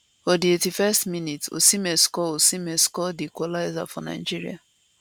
for di 81st minutes osimhen score osimhen score di equaliser for nigeria